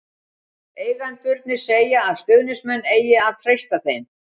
Eigendurnir segja að stuðningsmenn eigi að treysta þeim.